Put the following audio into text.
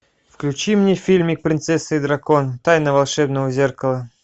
включи мне фильмик принцесса и дракон тайна волшебного зеркала